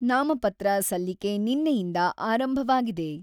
ನಾಮಪತ್ರ ಸಲ್ಲಿಕೆ ನಿನ್ನೆಯಿಂದ ಆರಂಭವಾಗಿದೆ.